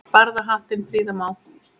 Barða hattinn prýða má.